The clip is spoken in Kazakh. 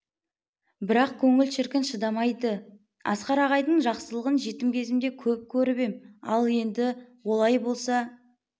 бірақ көңіл шіркін шыдамайды асқар ағайдың жақсылығын жетім кезімде көп көріп ем ал енді олай болса